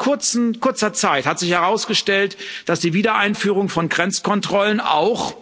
Aber schon nach kurzer Zeit hat sich herausgestellt, dass die Wiedereinführung von Grenzkontrollen auch